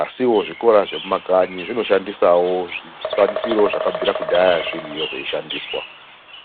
asiwo zvikora zvemumakanyi zvinoshandisawo zvikwanisiro zvakabvira kudhaya zviriyo zveishandiswa.